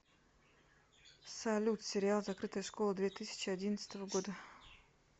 салют сериал закрытая школа две тысячи одиннадцатого года